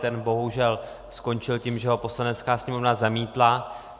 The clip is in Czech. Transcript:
Ten bohužel skončil tím, že ho Poslanecká sněmovna zamítla.